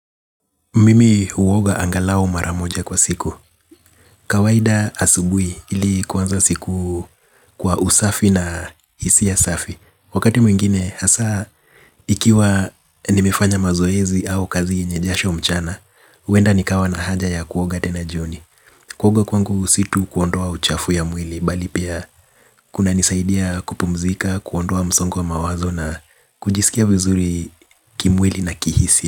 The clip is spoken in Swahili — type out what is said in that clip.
Mimi huoga angalau mara moja kwa siku. Kawaida asubuhi ili kuanza siku kwa usafi na hisia safi. Wakati mwingine hasa ikiwa nimefanya mazoezi au kazi yenye jasho mchana, huenda nikawa na haja ya kuoga tena jioni. Kuoga kwangu si tu kuondoa uchafu ya mwili bali pia kunanisaidia kupumzika, kuondoa msongo wa mawazo na kujisikia vizuri kimwili na kihisia.